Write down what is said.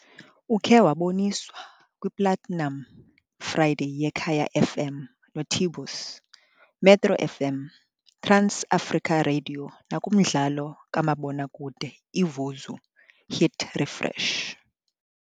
Ukhe waboniswa kwiPlatinum Friday yeKaya FM noT-Bose, Metro FM, TransAfrica Radio nakumdlalo kamabonakude iVuzu, Hit Refresh.